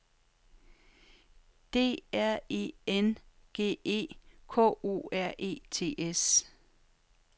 D R E N G E K O R E T S